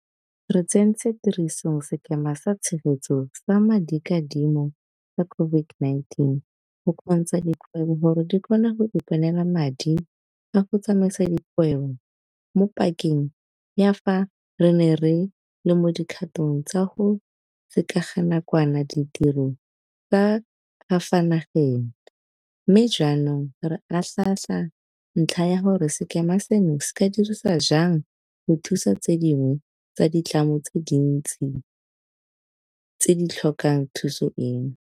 Re tsentse tirisong Sekema sa Tshegetso sa Madikadimo sa COVID-19 go kgontsha dikgwebo gore di kgone go iponela madi a go tsamaisa dikgwebo mo pakeng ya fa re ne re le mo dikgatong tsa go sekeganakwana ditiro tsa ka fa nageng, mme jaanong re atlhaatlhaa ntlha ya gore sekema seno se ka dirisiwa jang go thusa tse dingwe tsa ditlamo tse dintsi tse di tlhokang thuso eno.